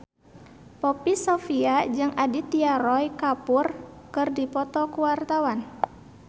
Poppy Sovia jeung Aditya Roy Kapoor keur dipoto ku wartawan